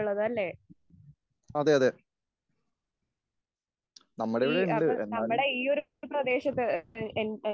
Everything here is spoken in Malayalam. അതെ, അതെ.നമ്മുടെ ഇവിടെയുണ്ട് എന്നാലും,